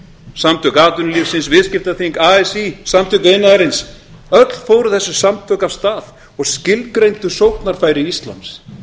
samtök atvinnulífsins viðskiptaþing así samtök iðnaðarins öll fóru þessi samtök af stað og skilgreindu sóknarfæri íslands